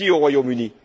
Merci au Royaume Uni.